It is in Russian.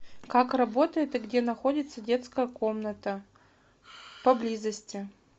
как работает и где находится детская комната поблизости